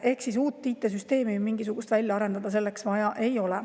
Ehk siis mingisugust uut IT‑süsteemi selleks välja arendada ei ole vaja.